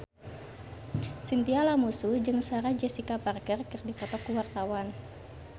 Chintya Lamusu jeung Sarah Jessica Parker keur dipoto ku wartawan